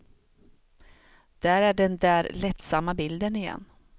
Där är den där lättsamma bilden igen.